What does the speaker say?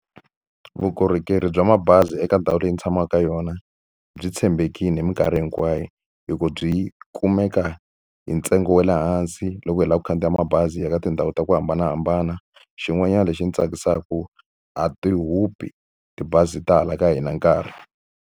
Vukorhokeri bya mabazi eka ndhawu leyi ni tshamaka ka yona byi tshembekile hi mikarhi hinkwayo. Hi ku byi kumeka hi ntsengo wa le hansi loko hi lava ku khandziya mabazi ya ka tindhawu ta ku hambanahambana. Xin'wanyana lexi ndzi tsakisaka, a ti hupi tibazi ta hala ka hina nkarhi.